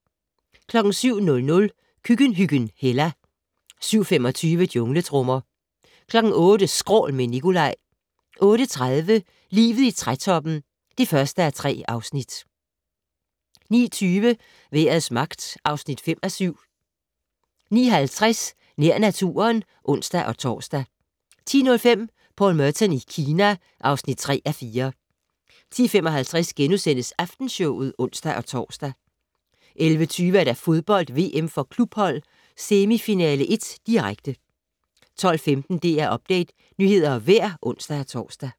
07:00: Køkkenhyggen Hella 07:25: Jungletrommer 08:00: Skrål - med Nicolaj 08:30: Livet i trætoppen (1:3) 09:20: Vejrets magt (5:7) 09:50: Nær naturen (ons-tor) 10:05: Paul Merton i Kina (3:4) 10:55: Aftenshowet *(ons-tor) 11:20: Fodbold: VM for klubhold - semifinale 1, direkte 12:15: DR Update - nyheder og vejr (ons-tor)